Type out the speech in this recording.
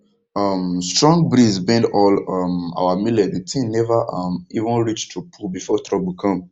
um strong breeze bend all um our millet the thing never um even reach to pull before trouble come